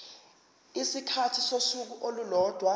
isikhathi sosuku olulodwa